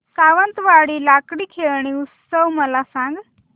सावंतवाडी लाकडी खेळणी उत्सव मला सांग